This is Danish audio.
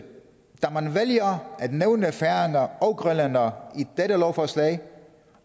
da man vælger at nævne færinger og grønlændere i dette lovforslag